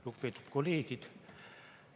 Lugupeetud kolleegid!